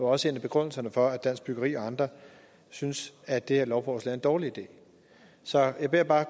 også en af begrundelserne for at dansk byggeri og andre synes at det her lovforslag er en dårlig idé så jeg vil bare